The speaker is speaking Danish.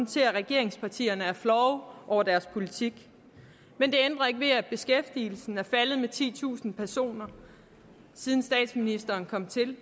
til at regeringspartierne er flove over deres politik men det ændrer ikke ved at beskæftigelsen er faldet med titusind personer siden statsministeren kom til